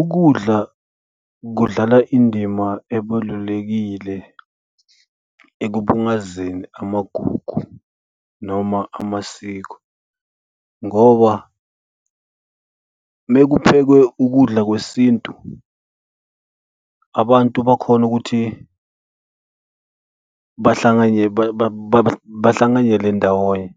Ukudla kudlala indima ebalulekile ekubungazeni amagugu noma amasiko ngoba uma kuphekwe ukudla kwesintu abantu bakhona ukuthi bahlanganyele ndawonye